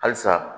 Halisa